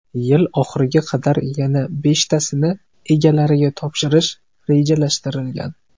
Yil oxiriga qadar yana beshtasini egalariga topshirish rejalashtirilgan.